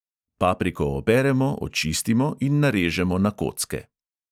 Papriko operemo, očistimo in narežemo na kocke.